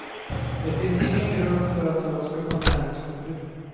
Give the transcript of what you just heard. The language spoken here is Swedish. Det finns ingen grund för att jag ska få näringsförbud.